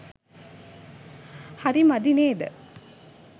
හරි මදි නේද?